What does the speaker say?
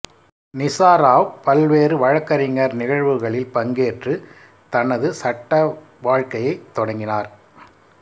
நிசா ராவ் பல்வேறு வழக்கறிஞர் நிகழ்வுகளில் பங்கேற்று தனது சட்ட வாழ்க்கையைத் தொடங்கினார்